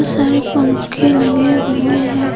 सारे पंखे लगे हुए हैं।